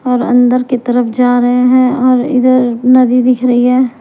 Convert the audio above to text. और अंदर की तरफ जा रहे हैं और इधर नदी दिख रही है।